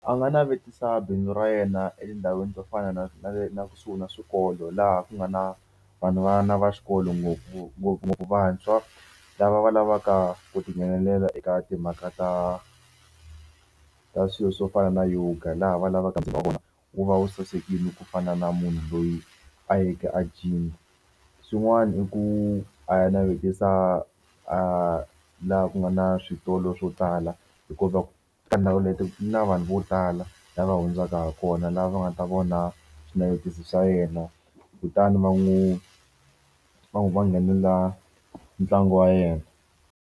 A nga navetisa bindzu ra yena etindhawini to fana na na na kusuhi na swikolo laha ku nga na va vana va xikolo ngopfu ngopfungopfu vantshwa lava va lavaka ku tinghenelela eka timhaka ta ka swilo swo fana na yoga laha va lavaka wa vona wu va wu sasekile ku fana na munhu loyi a yeke a gym. Swin'wana i ku a ya navetisa a laha ku nga na switolo swo tala hikuva ka ndhawu leti na vanhu vo tala lava hundzaka ha kona laha va nga ta vona swinavetiso swa yena kutani va n'wi va n'wi va nghenelela ntlangu wa yena.